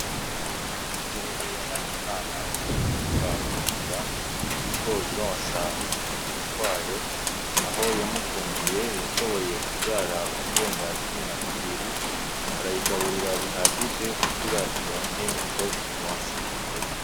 Ingurube ya Nahimana wo ku mutumba Mugomera iriko ironsa utubuguru twayo ,aho Yamukundiye yashoboye kuvyara uturenga cumi na tubiri, arayigaburira bihagije kugira ironke ico itwonsa.